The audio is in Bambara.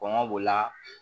Kɔngɔ b'o la